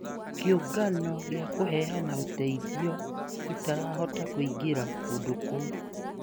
Kĩũngano kĩa kũheana ũteithio ĩtĩrahota kũingira kũndũ kũu